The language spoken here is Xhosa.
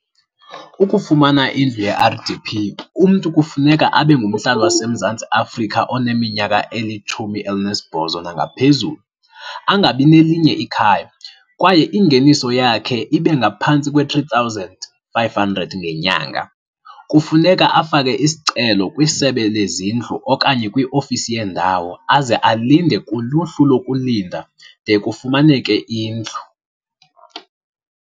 Ukufumana indlu ye-R_D_P, umntu kufuneka abe ngumhlali waseMzantsi Afrika oneminyaka elitshumi elinesibhozo nangaphezulu, angabi nelinye ikhayam kwaye ingeniso yakhe ibe ngaphantsi kwe-three thousand five-hundred ngenyanga. Kufuneka afake isicelo kwiSebe leZindlu okanye kwiofisi yendawo, aze alinde kuluhlu lokulinda de kufumaneke indlu.